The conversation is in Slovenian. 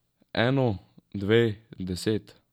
Eno, dve, deset?